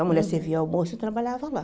A mulher servia almoço e eu trabalhava lá.